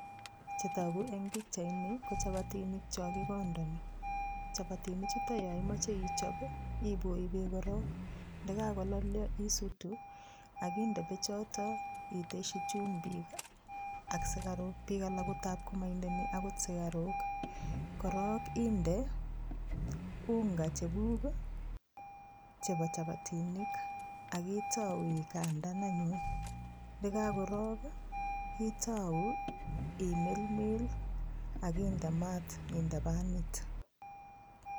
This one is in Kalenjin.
Chetogu eng pichaini ko chapatinik cho kikondoni. Chapatinichutok yo imoche ichop ipoi beek korok . Yekakalollio isutu akinde beechotok iteshi chumbik ak sukaruk, piik alak ko moindeni akot sukaru. Korok inde unga cheguk chepo chapatinik akitou ikandan ayun'. Ndekakorok, itou imelmel akinde maat inde panit.